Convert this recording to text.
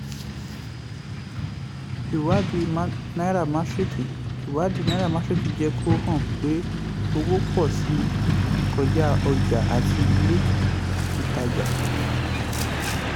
ìwádìí nairametrics ìwádìí nairametrics jẹ́ kó hàn pé owó pọ̀ síi kọja ọjà àti ilé-ìtajà.